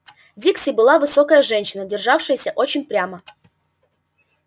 дикси была высокая женщина державшаяся очень прямо